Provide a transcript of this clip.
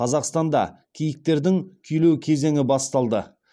қазақстанда киіктердің күйлеу кезеңі басталды